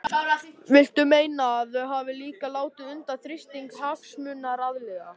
Viltu meina að þau hafi líka látið undan þrýstingi hagsmunaaðila?